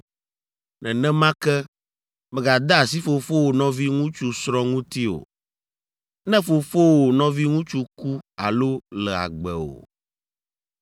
“ ‘Nenema ke, mègade asi fofowò nɔviŋutsu srɔ̃ ŋuti o, ne fofowò nɔviŋutsu ku alo le agbe o.